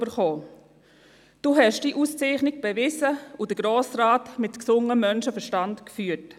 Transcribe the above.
Sie haben diese Auszeichnung bewiesen und den Grossen Rat mit gesundem Menschenverstand geführt.